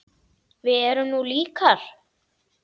Við erum nú líkar!